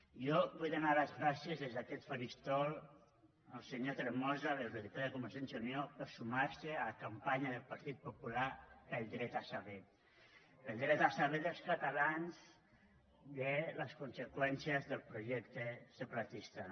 jo vull donar les gràcies des d’aquest faristol al senyor tremosa a l’eurodiputat de convergència i unió per sumar se a la campanya del partit popular pel dret a saber pel dret a saber dels catalans de les conseqüències del projecte separatista